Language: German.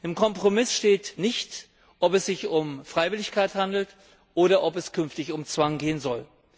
Im Kompromiss steht nicht, ob es sich um Freiwilligkeit handelt oder ob es künftig um Zwang gehen soll.